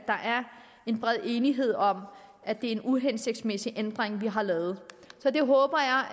en bred enighed om at det er en uhensigtsmæssig ændring vi har lavet så det håber